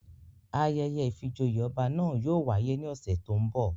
Ayẹyẹ ìfijoyé ọba na yóò wáyè ni ọsẹ to ńbo